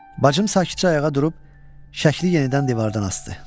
Bacım sakitcə ayağa durub şəkli yenidən divardan asdı.